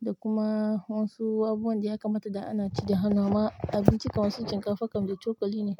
Da kuma wasu wabuwan da ya kamata da ana ci da hannu amma abinci kam wasu shinkafa kam da cokali ne.